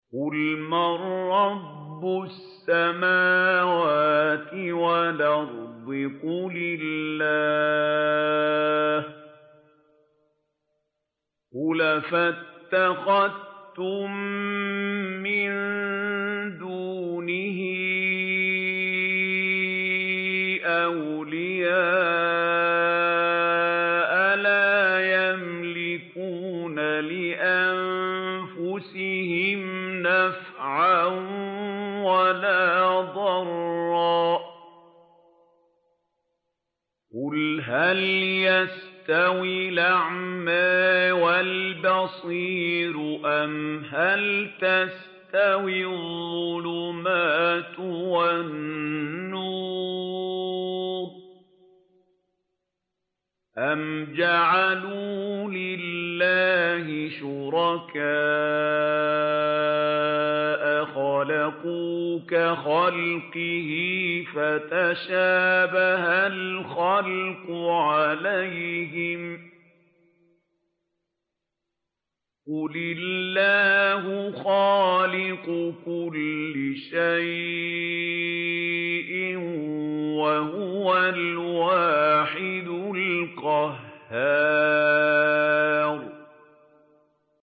قُلْ مَن رَّبُّ السَّمَاوَاتِ وَالْأَرْضِ قُلِ اللَّهُ ۚ قُلْ أَفَاتَّخَذْتُم مِّن دُونِهِ أَوْلِيَاءَ لَا يَمْلِكُونَ لِأَنفُسِهِمْ نَفْعًا وَلَا ضَرًّا ۚ قُلْ هَلْ يَسْتَوِي الْأَعْمَىٰ وَالْبَصِيرُ أَمْ هَلْ تَسْتَوِي الظُّلُمَاتُ وَالنُّورُ ۗ أَمْ جَعَلُوا لِلَّهِ شُرَكَاءَ خَلَقُوا كَخَلْقِهِ فَتَشَابَهَ الْخَلْقُ عَلَيْهِمْ ۚ قُلِ اللَّهُ خَالِقُ كُلِّ شَيْءٍ وَهُوَ الْوَاحِدُ الْقَهَّارُ